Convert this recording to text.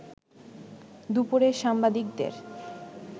দুপুরে সাংবাদিকদের